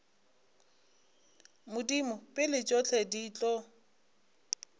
modimo pele tšohle di tlo